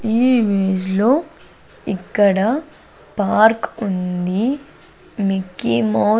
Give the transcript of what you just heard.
ఈ ఇమేజ్ లో ఇక్కడ పార్క్ ఉంది మిక్కీ మౌత్ .